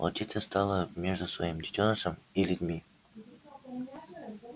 волчица стала между своим детёнышем и людьми